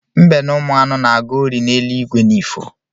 Mbe na ụmụanụ na-aga ori n’eluigwe n’ifo